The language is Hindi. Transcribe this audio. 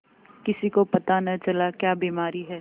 किसी को पता न चला क्या बीमारी है